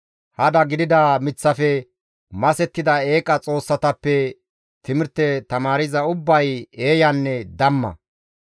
Hada gidida miththafe masettida eeqa xoossatappe timirte tamaarza ubbay eeyanne damma.